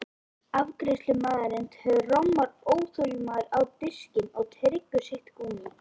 Afgreiðslumaðurinn trommar óþolinmóður á diskinn og tyggur sitt gúmmí.